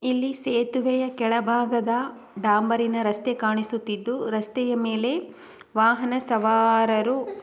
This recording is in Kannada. ಇಲ್ಲಿ ಸೇತುವೆಯ ಕೆಳಭಾಗದ ಡಾಂಬರಿನ ರಸ್ತೆ ಕಾಣಿಸುತ್ತಿದ್ದು ರಸ್ತೆಯ ಮೇಲೆ ವಾಹನ ಸವಾರರು --